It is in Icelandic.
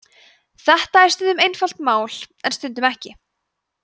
þetta er stundum einfalt mál en stundum ekki